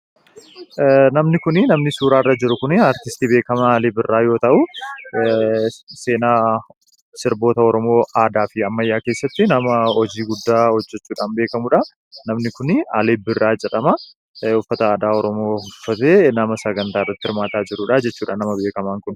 Namni suuraa irra jiru kun, aartistii beekamaa Alii Birraa yoo ta'u ,seenaa sirboota Oromoo aadaa fi ammayyaa keessatti nama hojii guddaa hojjechuudhaan beekamuudha. Namni Alii Birraa jedhamu kun, uffata aadaa Oromoo uffatee nama sagantaa irratti hirmaataa jiruudha.